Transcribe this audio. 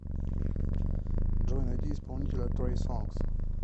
джой найди исполнителя трей сонгз